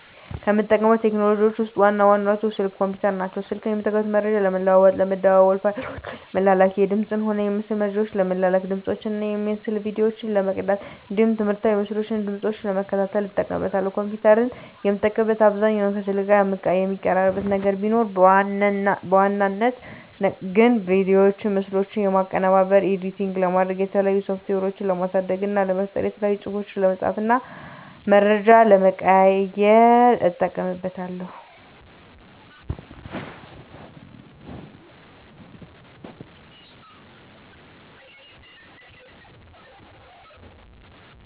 ከምጠቀማቸው ቴክኖሎጂዎችን ውስጥ ዋና ዋናዎቹ ስልክ እና ኮምፒተር ናቸው። ስልክን የምጠቀመው መረጃ ለመለዋዎጥ ለመደዋዎል፣ ፋይሎችን ለመላላክ፣ የድምፅንም ሆነ የምስል መረጃዎችን ለመላላክ፣ ድምፆችን እና የምስል ቪዲዮዎችን ለመቅዳት እንዲሁም ትምህርታዊ ምስሎችን እና ድምጾችን ለመከታተል እጠቀምበታለሁ። ኮምፒተርን የምጠቀምበት አብዛኛውን ከስልክ ጋር የሚቀራርባቸው ነገር ቢኖርም በዋናነት ግን ቪዲዮዎችና ምስሎችን ለማቀነባበር (ኤዲት) ለማድረግ፣ የተለያዩ ሶፍትዌሮችን ለማሳደግ እና ለመፍጠር፣ የተለያዩ ፅሁፎችን ለመፃፍ እና መረጃ ለመቀያየር ... እጠቀምበታለሁ።